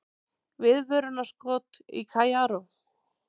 Viðvörunarskot í Kaíró